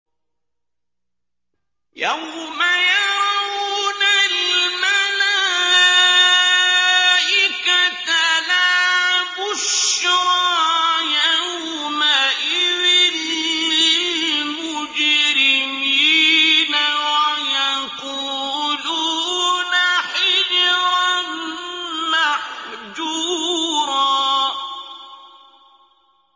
يَوْمَ يَرَوْنَ الْمَلَائِكَةَ لَا بُشْرَىٰ يَوْمَئِذٍ لِّلْمُجْرِمِينَ وَيَقُولُونَ حِجْرًا مَّحْجُورًا